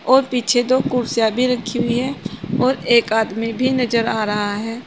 और पीछे दो कुर्सियां भी रखी हुई है और एक आदमी भी नजर आ रहा है।